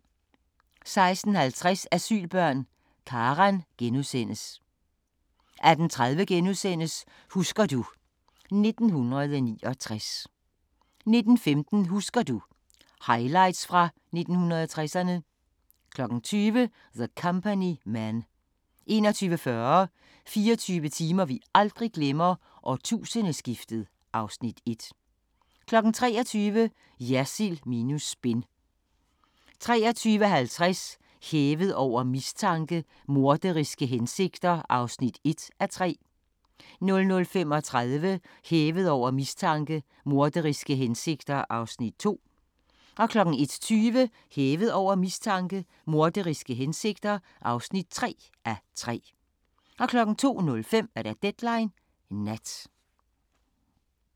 16:50: Asylbørn – Karan * 18:30: Husker du ... 1969 * 19:15: Husker du – Highlights fra 1960'erne 20:00: The Company Men 21:40: 24 timer vi aldrig glemmer: Årtusindeskiftet (Afs. 1) 23:00: Jersild minus spin 23:50: Hævet over mistanke: Morderiske hensigter (1:3) 00:35: Hævet over mistanke: Morderiske hensigter (2:3) 01:20: Hævet over mistanke: Morderiske hensigter (3:3) 02:05: Deadline Nat